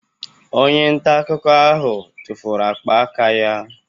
Onye nta akụkọ ahụ tụfuru ákpá aka ya